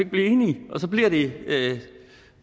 blive enige